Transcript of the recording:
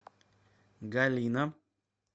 галина